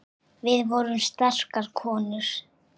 Við vorum sterkar konur.